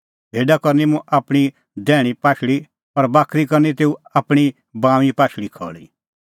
भेडा करनी मुंह आपणीं दैहणीं पाशल़ी और बाकरी करनी तेऊ आपणीं बाऊंईं पाशल़ी खल़ी